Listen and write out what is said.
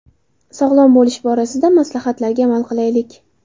Sog‘lom bo‘lish borasidagi maslahatlarga amal qilaylik.